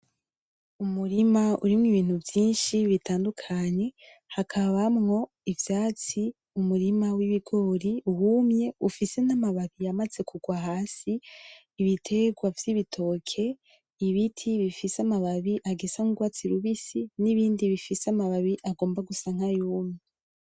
Umurima urimwo ibintu vyinshi bitandukanye hakabamwo ivyatsi, umurima w'ibigori wumye ufise n'amababi yamaze kugwa hasi, ibitegwa vy'ibitoke, ibiti bifise amababi agisa n'urwatsi rubisi n'ibindi bifise amababi agomba gusa nkayumye.